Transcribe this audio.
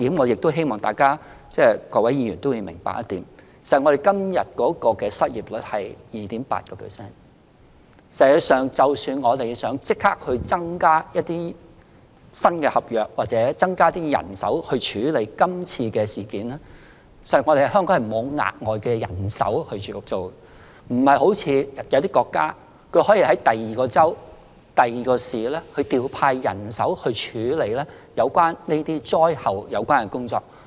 不過，我希望各位議員明白一點，香港現時的失業率是 2.8%， 即使我們想立即增加新合約或人手處理今次的事件，實際上，香港也再沒有可供隨時調動的額外人手，不像某些國家可在其他州或市調派人手處理風災的善後工作。